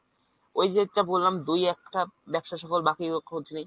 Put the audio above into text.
ওই যেটা বললাম দুই একটা ব্যবসায় সফল বাকিগুলোর খোঁজ নেই।